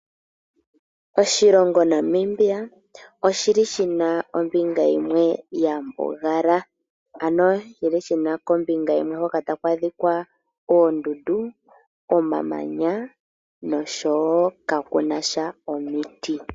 Oshilongo Namibia oshi li shi na ombinga yimwe ya mbugala. Ano shi li shina kombinga yimwe Hoka taku adhika oondundu omamanya nosho wo kaakuna omiti.